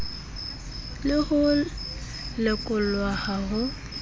le ho lekolwa ha ho